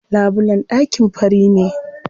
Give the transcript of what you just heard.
Labulen ɗakin fari ne.